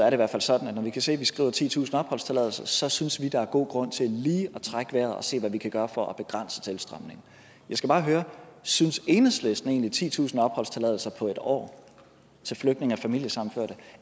i hvert fald sådan at når vi kan se at vi skriver titusind opholdstilladelser så synes vi at der er god grund til lige at trække vejret og se hvad vi kan gøre for at begrænse tilstrømningen jeg skal bare høre synes enhedslisten egentlig at titusind opholdstilladelser på en år til flygtninge og familiesammenførte